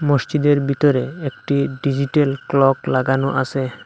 মসজিদের ভিতরে একটি ডিজিটাল ক্লক লাগানো আসে।